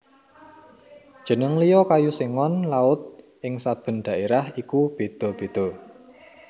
Jeneng liya kayu Sengon Laut ing saben dhaérah iku béda béda